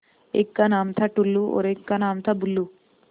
एक का नाम था टुल्लु और एक का नाम था बुल्लु